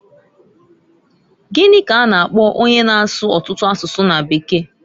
Gini k'a na - akpo onye na-asụ ọtụtụ asụsụ na bekee?